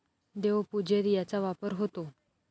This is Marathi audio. देवपूजेत याचा वापर होतो.